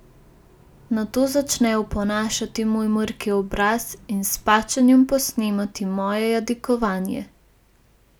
Nato začne oponašati moj mrki obraz in s pačenjem posnemati moje jadikovanje.